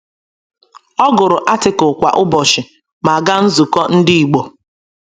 Ọ gụrụ Article kwa ụbọchị ma gaa nzukọ Ndị igbo.